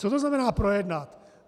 Co to znamená projednat?